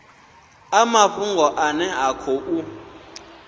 a mafhungo ane a khou